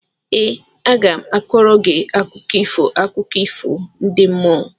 Ee, aga m a kọọrọ gị akụkọ ifo akụkọ ifo ndị mmụọ